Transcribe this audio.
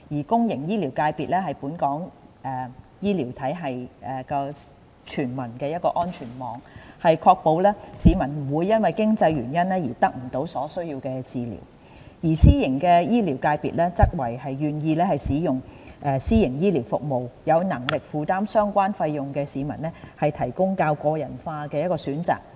公營醫療界別是本港醫療體系的全民安全網，確保市民不會因為經濟原因而得不到所需的治療，而私營醫療界別則為願意使用私營醫療服務、有能力負擔相關費用的市民提供較個人化的選擇。